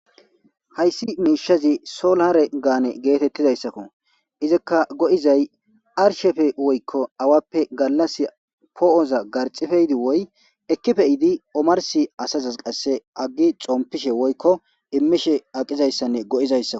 Hayssi miishazi solaare gaane geetettidayssakko izikka go7izay arshefe woykko awappe gallas poo7oza garxife yidi woy ekkifeiidi omarsi asazaz qasse aggi xompishe woykko immishe aqizayssanne go7izayssak.